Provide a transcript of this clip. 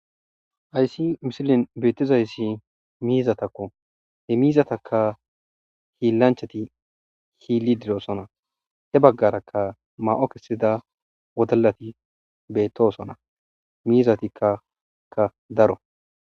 Hayssi misilen betizayssi mizatakko. He mizataka hiillanchchatti hillididosona. He baggarakka may'o kachchida wodallati bettosoña. Mizatika daro.